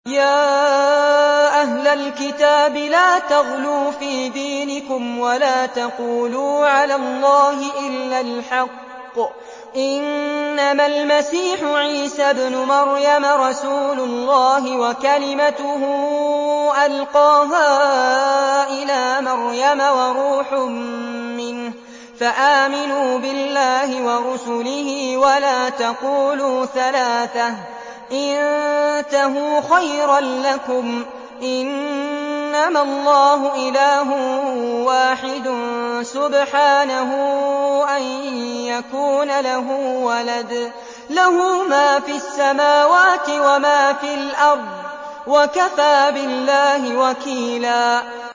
يَا أَهْلَ الْكِتَابِ لَا تَغْلُوا فِي دِينِكُمْ وَلَا تَقُولُوا عَلَى اللَّهِ إِلَّا الْحَقَّ ۚ إِنَّمَا الْمَسِيحُ عِيسَى ابْنُ مَرْيَمَ رَسُولُ اللَّهِ وَكَلِمَتُهُ أَلْقَاهَا إِلَىٰ مَرْيَمَ وَرُوحٌ مِّنْهُ ۖ فَآمِنُوا بِاللَّهِ وَرُسُلِهِ ۖ وَلَا تَقُولُوا ثَلَاثَةٌ ۚ انتَهُوا خَيْرًا لَّكُمْ ۚ إِنَّمَا اللَّهُ إِلَٰهٌ وَاحِدٌ ۖ سُبْحَانَهُ أَن يَكُونَ لَهُ وَلَدٌ ۘ لَّهُ مَا فِي السَّمَاوَاتِ وَمَا فِي الْأَرْضِ ۗ وَكَفَىٰ بِاللَّهِ وَكِيلًا